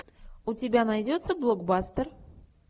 у тебя найдется блокбастер